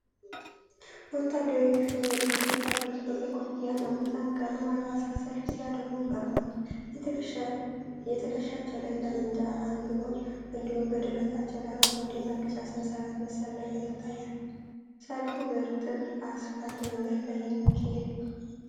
ወታደራዊ ዩኒፎርም የለበሱ ወታደሮች በቀይ ኮፍያና በታንክ ቀለም አልባሳት ሰልፍ ሲያደርጉ ቀርበዋል። የትከሻቸው ላይ ጠመንጃ አንግበዋል፤ እንዲሁም በደረታቸው ላይ አረንጓዴና ቢጫ ሰንሰለት መሰል ነገር ይታያል። ሰልፉ በእርጥብ አስፋልት መንገድ ላይ የሚካሄድ ነው።